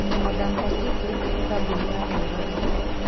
Modern Pacific nĩ kambuni ya Murage.